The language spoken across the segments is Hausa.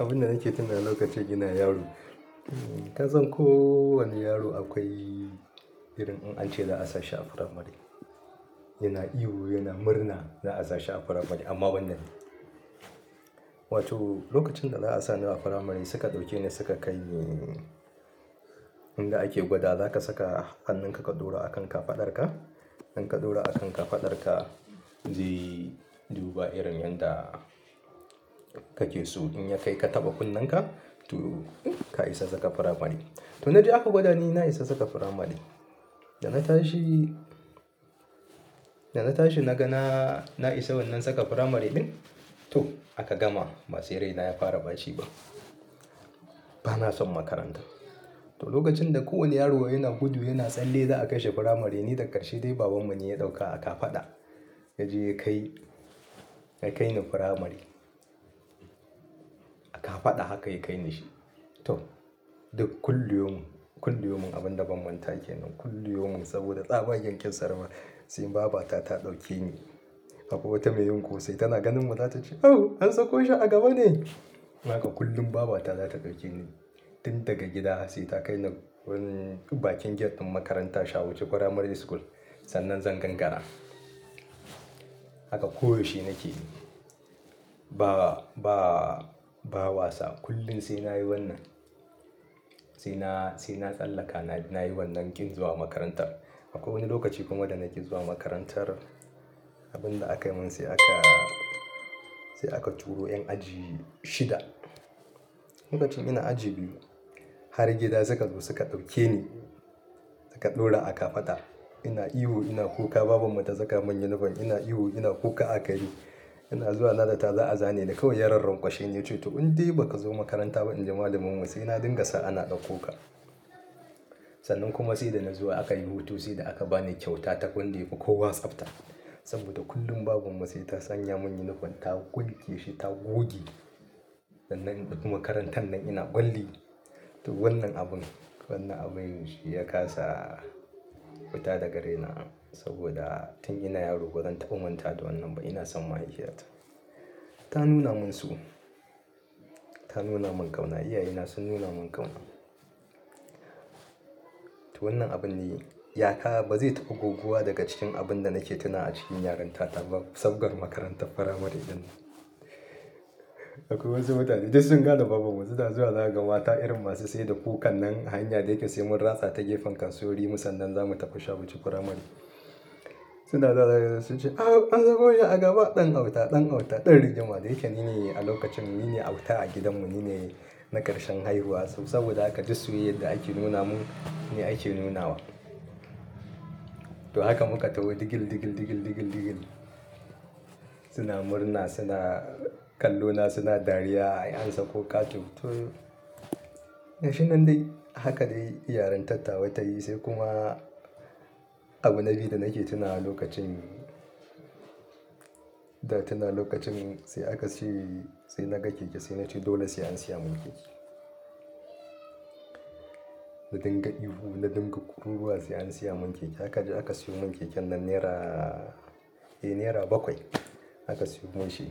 Abunda nake tuna lokacin ina yaro. Kasan ko wani yaro akwai irin in ace za'a sa shi a primary, yana ihu, yana murna za'a sa shi a primary amma banda ni wato lokacin da za a sa ni a primary suka ɗauke ni suka kai ni inda ake gwada, za ka saka hannunka ka ɗora a kan kafadar ka. In ka ɗora a kan kafadar ka, zai duba irin yadda kake so in ya kai ka taɓa kunnenka to ka isa saka primary. To na je aka gwada ni na isa saka primary. Da na tashi, da na tashi na ga na, na isa wannan saka firamare ɗin. To aka gama, basai raina ya fara baci ba. Bana son makaranta. To lokacin da kowane yaro yana gudu yana tsalle za a kai shi firamare, ni da karshe dai babanmu ne ya ɗauka aka faɗa. Ya je ya kai, ya kai ni firamare. Akafaɗa haka ya kai ni shi. To duk kullu yaumu, kullu yaumu abunda ban manta kenan, kullu yaumu, saboda tsabagen kin sa ma sai babata ta dauke ni Akwai wata mai yunƙosai tana ganin mu ta ce "awon an sako shi a gaba ne?" Haka kullum babata za ta ɗauke ni. Tun daga gida sai ta kai ni wani bakin gate ɗin makarantar Shawu Chikwara Primary School. Sannan zan gangara. Haka koyaushe nakeyi. Ba, ba, ba wasa kullum sai nayi wannan. Sai na, sai na tsallaka nayi wannan ƙin zuwa makarantar. Akwai wani lokaci kuma da nake zuwa makarantar, abin da aka yi min sai aka sai aka turo 'yan aji shida. Lokacin ina aji biyu, har gida suka zo suka zo suka ɗauke ni suka ɗora akafaɗa. Ina ihu ina kuka babanmu ta saka mun yunifom. Ina ihu ina kuka aka yi. Ina zuwa nazata za a zane ni kawai yaran rankwashe ya ce to in dai ba ka zo makaranta ba in ji malaminmu sai na dinga sa ana ɗauko ka. Sannan kuma sai da na zo aka yi hutu sai da aka ba ni kyauta ta kwanda yafi kowa tsafta. Saboda kullum babanmu sai ta sanya mun yunifom ta kulke shi ta goge. Sannan makarantar nan ina ƙwalli. To wannan abun, wannan abin shi ya ƙasa futa daga raina. Soboda tun ina yaro bazan taba manta da wannan ba, ina son mahaifiya ta ta nuna mun so. Ta nuna mun ƙauna. Iyaye na sun nuna mun ƙauna. To wannan abin ne. Yaka ba zai taɓa goguwa daga cikin abin da nake tuna a cikin yarinta ta ba sabgar makarantar firamare ɗinan. Akwai wasu mutane duk sun gane babanmu suna zuwa zaka ga mata irin masu sai da kukan nan a hanya da yake sai mun ratsa ta gefen kasuwari mu sannan zamu tafi Shawu Chikwara Primary. Suna da ɗa suna cewa sun ce "awon an sako shi a gaba ɗan auta ɗan auta ɗan rigima." Da yake ni ne a lokacin ni ne auta a gidanmu ni ne na ƙarshen haihuwa. Saboda haka duk soyayyar da ake nuna mun, ni ake nunawa. To haka muka taho digil digil digil digil digil. Suna murna suna kallo na suna dariya "an sako kato", to gashinan dai a haka dai iyarintar tawa ta yi sai kuma abu na biyu da nake tuna a lokacin, da tuna lokacin sai aka ce, sai na ga keke sai na ce dole sai an siya mun keke. Na dinga ihu na dinga kururuwa sai an siya mun keke. Haka dai aka siyo mun keken nan nera, eh nera bakwai aka siyo mun shi.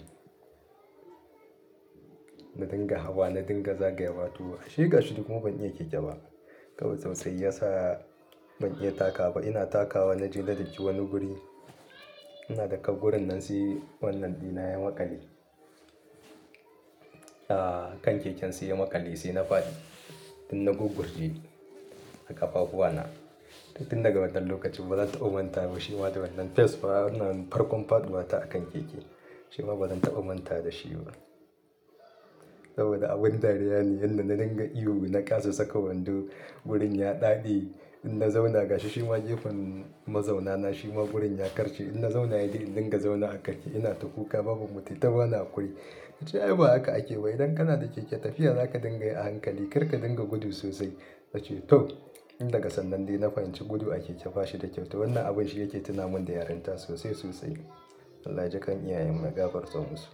Na dinga hawa na dinga zagayawa. Ashe gashi ni duk kuma ban iya keke ba. Kawai tsautsayi ya sa ban iya taka ba. Ina takawa na je na dinki wani guri. Ina dakka gurin nan sai wannan ɗina ya maƙale. A kan keken sai ya maƙale sai na faɗi tun na guburji a kafafuwa na. Tun daga wannan lokacin bazan taɓa manta ba shi ma da wannan face farana farkon faɗuwa ta akan keke. Shi ma bazan taɓa manta da shi ba. Saboda abin dariya ne yanda na dinga ihu na ƙasa saka wando wurin ya daɗe. In na zauna gashi shi ma gefen mazauna na shi ma gurin ya karce. In na zauna yadi in dinga zauna a keke ina ta kuka babanmu tayi ta ɓani hakuri. Ta ce ai ba haka ake ba idan kana da keke tafiya zaka dinga yi a hankali kar ka dinga gudu sosai. Na ce to. Tun daga sannan dai na fahimci gudu a keke bashi da kyau. To wannan abin shi yake tuna mun da yarinta sosai sosai. Allah jikan iyayen mu ya gafarta musu.